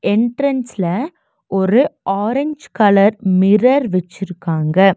என்ட்ரன்ஸ்ல ஒரு orange colour mirror வச்சிருக்காங்க.